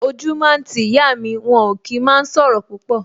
O jú máa ń ti ìyá mi, wọn ò kí máa ń sọ̀rọ̀ púpọ̀